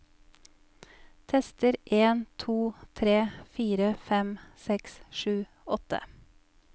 Tester en to tre fire fem seks sju åtte